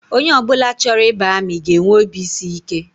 Onye ọ bụla chọrọ ịba amị ga-enwe obisiike